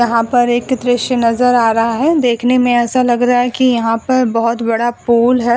यहाँ पर एक दृश्य नजर आ रहा है। देखने में ऐसा लग रहा है कि यहाँ पर भोत बड़ा पोल है।